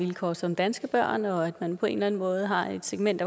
vilkår som danske børn og at man på en eller anden måde har et segment